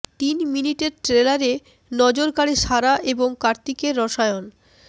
তিন মিনিটের ট্রেলারে নজর কাড়ে সারা এবং কার্তিকের রসায়ন